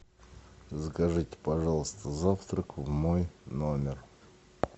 закажите пожалуйста завтрак в мой номер